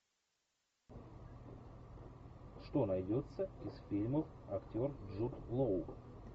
что найдется из фильмов актер джуд лоу